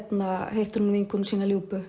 hittir hún vinkonu sína